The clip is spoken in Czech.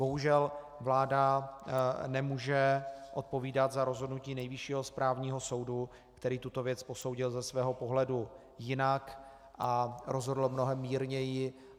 Bohužel vláda nemůže odpovídat za rozhodnutí Nejvyššího správního soudu, který tuto věc posoudil ze svého pohledu jinak a rozhodl mnohem mírněji.